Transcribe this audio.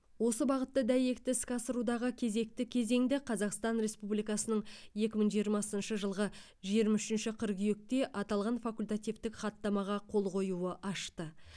осы бағытты дәйекті іске асырудағы кезекті кезеңді қазақстан республикасының екі мың жиырмасыншы жылғы жиырма үшінші қыркүйекте аталған факультативтік хаттамаға қол қоюы ашты